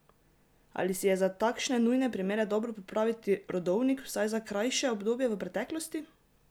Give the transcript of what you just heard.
Ali si je za takšne nujne primere dobro pripraviti rodovnik vsaj za krajše obdobje v preteklosti?